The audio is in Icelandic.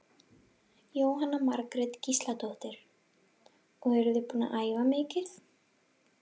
Jóhanna Margrét Gísladóttir: Og eruð þið búin að æfa mikið?